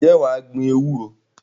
Ǹjẹ́ wà á gbin ewúro?